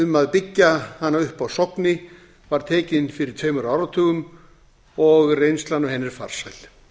um að byggja hana upp á sogni var tekin fyrir tveimur áratugum og reynslan af henni er farsæl